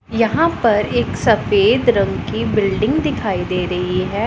यहां पर एक सफेद रंग की बिल्डिंग दिखाई दे रही है।